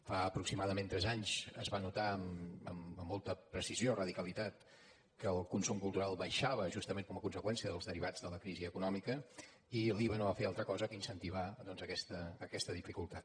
fa aproximadament tres anys es va notar amb molta precisió i radicalitat que el consum cultural baixava justament com a conseqüència dels derivats de la crisi econòmica i l’iva no va fer altra cosa que incentivar doncs aquesta dificultat